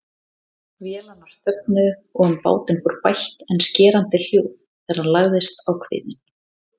Vélarnar þögnuðu og um bátinn fór bælt en skerandi hljóð þegar hann lagðist á kviðinn.